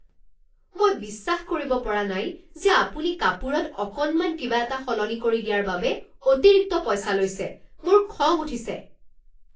মই বিশ্বাস কৰিব পৰা নাই যে আপুনি কাপোৰত অকণমান কিবা এটা সলনি কৰি দিয়াৰ বাবে অতিৰিক্ত পইচা লৈছে। মোৰ খং উঠিছে।